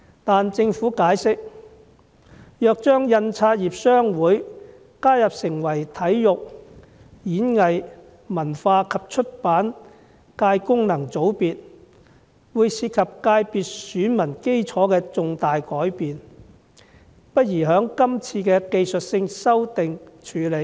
據政府解釋，如將香港印刷業商會加入成為體育、演藝、文化及出版界功能界別的選民，會導致界別選民基礎有重大改變，因此不宜在這次的技術性修訂處理。